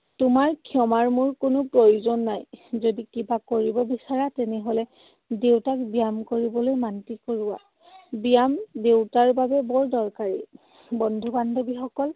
তোমাৰ ক্ষমাৰ মোৰ কোনো প্ৰয়োজন নাই। যদি কিবা কৰিব বিচৰা তেনেহলে দেউতাক ব্যায়াম কৰিবলৈ মান্তি কৰোৱা। ব্যায়াম দেউতাৰ বাবে বৰ দৰকাৰী। বন্ধু বান্ধৱীসকল,